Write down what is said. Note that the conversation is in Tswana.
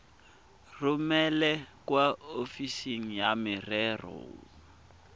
romele kwa ofising ya merero